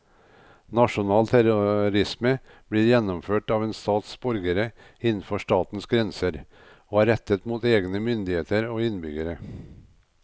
Nasjonal terrorisme blir gjennomført av en stats borgere innenfor statens grenser og er rettet mot egne myndigheter og innbyggere.